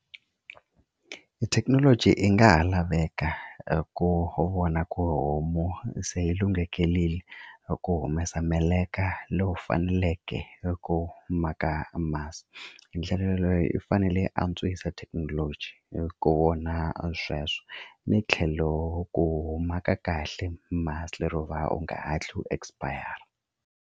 Thekinoloji yi nga ha laveka hi ku vona ku homu se yi lunghekelile hi ku humesa meleka lowu faneleke hi ku maka masi hi ndlela yaleyo i fanele antswisa thekinoloji ku kona a sweswo ni tlhelo ku huma ka kahle masi lero u va u nga ha tlhe u expire.